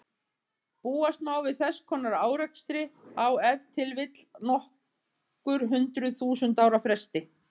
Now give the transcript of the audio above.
Búast má við þess konar árekstri á ef til vill nokkur hundruð þúsund ára fresti.